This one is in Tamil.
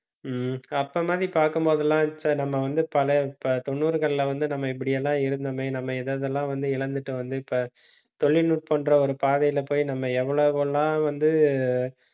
ஹம் அப்ப மாதிரி பார்க்கும்போதெல்லாம் ச்சே நம்ம வந்து பல தொண்ணூறுகள்ல வந்து, நம்ம இப்படி எல்லாம் இருந்தோமே நம்ம எது எதெல்லாம் வந்து இழந்துட்டோம் வந்து, இப்ப தொழில்நுட்பம்ன்ற ஒரு பாதையில போய் நம்ம எவ்வளவு எல்லாம் வந்து